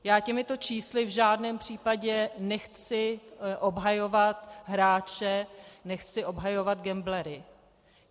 Já těmito čísly v žádném případě nechci obhajovat hráče, nechci obhajovat gamblery.